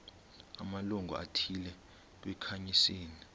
amalungu athile kwikhansile